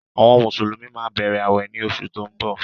Àwọn Mùsùlùmí máa bẹ̀rẹ̀ awẹ ní oṣù tí ó ń bọ̀.